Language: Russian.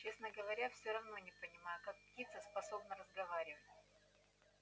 честно говоря всё равно не понимаю как птица способна разговаривать